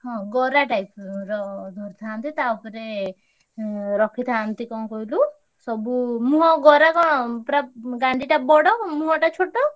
ହଁ ଗରା type ଉଁ ଥାନ୍ତି ତା ଉପରେ ଉଁ ରଖିଥାନ୍ତି କଣ କହିଲୁ ସବୁ ମୁହଁ ଗରା କଣ ପୁରା ଗାଣ୍ଡିଟା ବଡ ମୁହଁଟା ଛୋଟ।